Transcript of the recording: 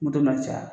Moto ma caya